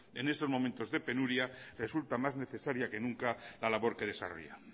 en estos momentos de penuria resulta más necesaria que nunca la labor que desarrolla